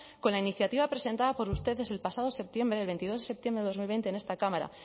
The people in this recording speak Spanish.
con la iniciativa presentada por ustedes el pasado septiembre el veintidós de septiembre de dos mil veinte en esta cámara